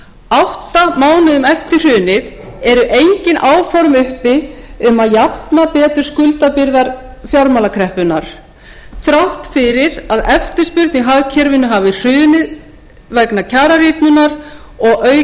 átta mánuðum eftir hrunið eru engin áform uppi um að jafna betur skuldabyrðar fjármálakreppunnar þrátt fyrir að eftirspurn í hagkerfinu hafi hrunið vegna kjararýrnunar og